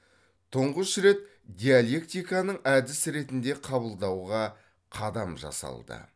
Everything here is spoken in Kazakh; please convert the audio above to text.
тұңғыш рет диалектиканың әдіс ретінде қабылдауға қадам жасалды